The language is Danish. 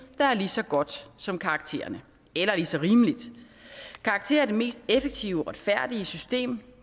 der er lige så godt som karaktererne eller lige så rimeligt karakterer er det mest effektive og retfærdige system